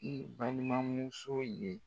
N balimamuso ye